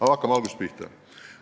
Aga hakkame algusest pihta.